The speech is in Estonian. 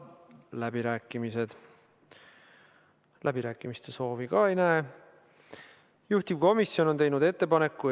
Kontrolltehing on erimeetmena lubatav vaid erandlikes olukordades, kui järelevalve teostamine ei ole muul viisil võimalik või on oluliselt raskendatud.